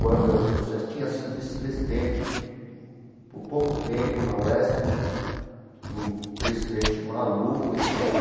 Quando eu eu já tinha sido vice-presidente, por pouco tempo, na UESP, um presidente maluco, entendeu?